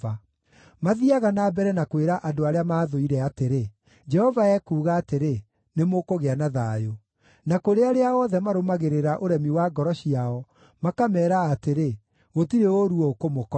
Mathiiaga na mbere na kwĩra andũ arĩa maathũire atĩrĩ, ‘Jehova ekuuga atĩrĩ: Nĩmũkũgĩa na thayũ.’ Na kũrĩ arĩa othe marũmagĩrĩra ũremi wa ngoro ciao, makameera atĩrĩ, ‘Gũtirĩ ũũru ũkũmũkora.’